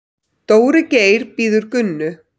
Dóri Geir bíður Gunnu.